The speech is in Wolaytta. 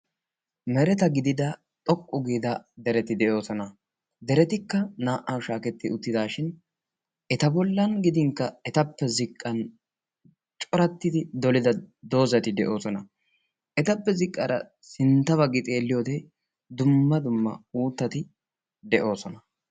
Mereta gidida xoqqu giidaa dereti de'oosona. deretikka naa"awu shaaketti uttidaashin eta bollan gidinkka etappe ziqqan corattidi dolida doozati de'oosona. etappe ziqqaara sintta baggi xeelliyoode dumma dumm auuttati de'oosona.